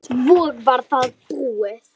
Svo var það búið.